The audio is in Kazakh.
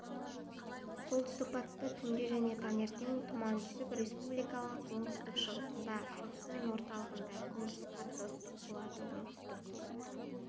солтүстік-батыста түнде және таңертен тұман түсіп республиканың оңтүстік-шығысында шығысы мен орталығында күндіз қатты ыстық болады оңтүстік